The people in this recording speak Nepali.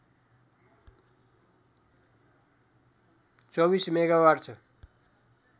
२४ मेगावाट छ